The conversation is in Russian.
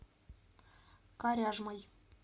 коряжмой